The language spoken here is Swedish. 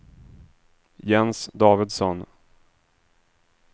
Jens Davidsson